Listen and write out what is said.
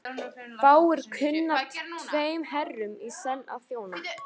Fáir kunna tveim herrum í senn að þjóna.